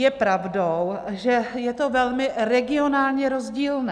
Je pravdou, že je to velmi regionálně rozdílné.